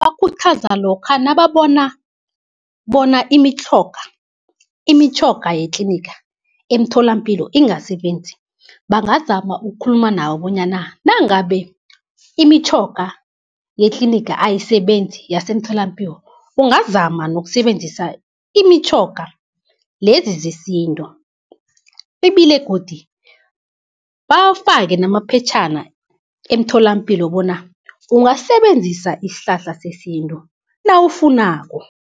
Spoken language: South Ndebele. Bakhuthaza lokha nababona bona imitjhoga yetliniga emtholampilo ingasebenzi bangazama ukukhuluma nawo, bonyana nangabe imitjhoga yetliniga ayisebenzi yasemtholampiwo ungazama nokusebenzisa imitjhoga lezi zesintu. Ibile godu bawafake namaphetjhana emtholampilo bona ungasisebenzisa isihlahla sesintu nawufunako.